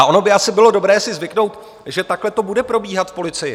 A ono by asi bylo dobré si zvyknout, že takhle to bude probíhat v policii.